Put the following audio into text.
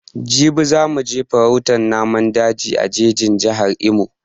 Jibi za mu je farautan naman daji a jejin Jihar Imo